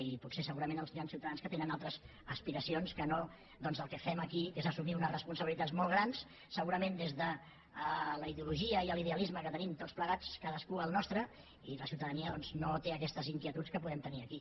i potser segurament hi han ciutadans que tenen altres aspiracions que no el que fem aquí que és assumir unes responsabilitats molt grans segurament des de la ideologia i l’idealisme que tenim tots plegats cadascú el nostre i la ciutadania no té aquestes inquietuds que podem tenir aquí